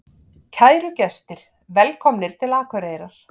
Kæru gestir! Velkomnir til Akureyrar.